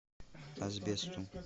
асбесту